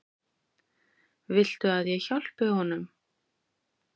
Viltu að ég hjálpi honum?